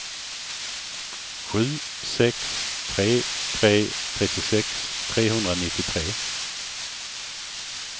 sju sex tre tre trettiosex trehundranittiotre